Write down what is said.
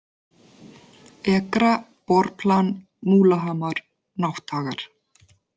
Ekra, Borplan, Múlahamar, Nátthagar